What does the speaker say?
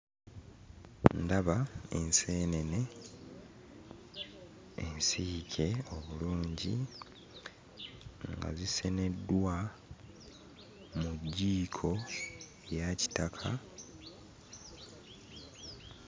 Ndaba enseenene ensiike obulungi nga ziseneddwa mu jjiiko eya kitaka.